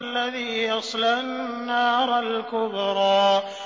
الَّذِي يَصْلَى النَّارَ الْكُبْرَىٰ